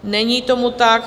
Není tomu tak.